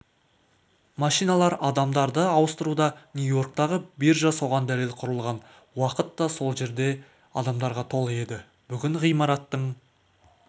машиналар адамдарды ауыстыруда нью-йорктағы биржа соған дәлел құрылған уақытта сол жер адамдарға толы еді бүгін ғимараттың